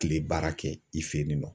Kile baara kɛ i fɛ yen nɔ.